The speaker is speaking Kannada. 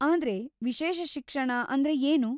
ಆದ್ರೆ, ವಿಶೇಷ ಶಿಕ್ಷಣ ಅಂದ್ರೆ ಏನು?